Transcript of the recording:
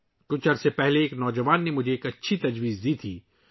. کچھ عرصہ پہلے ایک نوجوان نے مجھے ایک اچھا مشورہ دیا